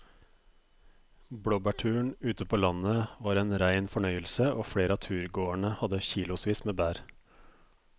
Blåbærturen ute på landet var en rein fornøyelse og flere av turgåerene hadde kilosvis med bær.